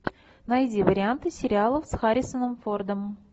найди варианты сериалов с харрисоном фордом